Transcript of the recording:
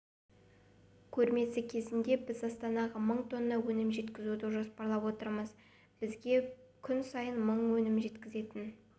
көрмесі кезінде біз астанаға мың тонна өнім жеткізуді жоспарлап отырмыз бізге күн сайын мың өнім жеткізетін